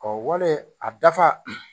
Ɔ wale a dafa